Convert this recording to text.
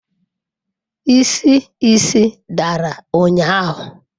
Isi isi dara ụnyahụ?